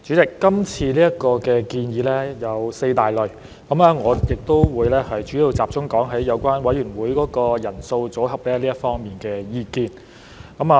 代理主席，今次建議有四大類，我會主要集中論述有關委員會人數和組合這方面的意見。